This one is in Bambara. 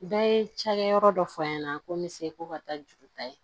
Bɛɛ ye cakɛyɔrɔ dɔ fɔ an ɲɛna ko n bɛ se ko ka taa juru ta ye